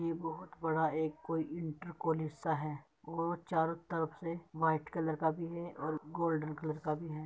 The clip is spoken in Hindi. ये बहुत बड़ा एक कोई इंटर कॉलेज सा है और चारो तरफ से वाईट कलर का भी है और गोल्डन कलर का भी है।